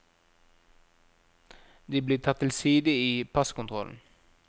De blir tatt til side i passkontrollen.